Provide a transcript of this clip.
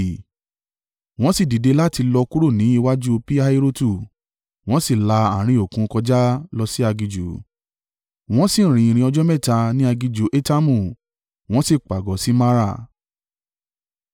Wọ́n sì dìde láti lọ kúrò ní iwájú Pi-Hahirotu, wọ́n sì la àárín òkun kọjá lọ sí aginjù. Wọ́n sì rin ìrìn ọjọ́ mẹ́ta ní aginjù Etamu, wọ́n sì pàgọ́ sí Mara.